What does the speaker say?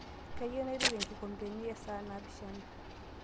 kaiyieu naituku inkikompeni e saa naapishana